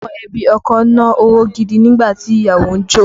Àwọn ẹbí ọkọ na owó gidi nígbà tí ìyàwó ń jó